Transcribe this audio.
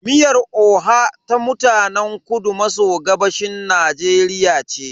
Miyar oha ta mutanen kudu maso gabashin Najeriya ce.